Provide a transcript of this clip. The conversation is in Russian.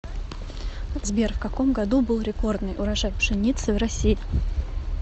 сбер в каком году был рекордный урожай пшеницы в россии